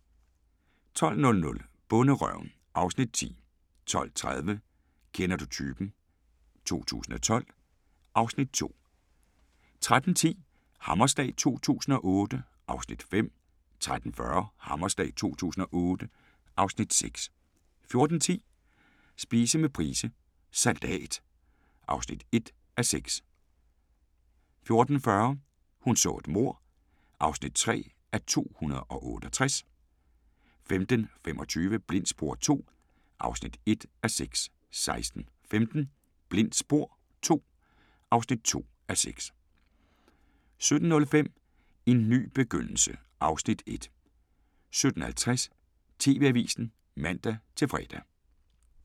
12:00: Bonderøven (Afs. 10) 12:30: Kender du typen? 2012 (Afs. 2) 13:10: Hammerslag 2008 (Afs. 5) 13:40: Hammerslag 2008 (Afs. 6) 14:10: Spise med Price – Salat (1:6) 14:40: Hun så et mord (3:268) 15:25: Blindt spor II (1:6) 16:15: Blindt spor II (2:6) 17:05: En ny begyndelse (Afs. 1) 17:50: TV-avisen (man-fre)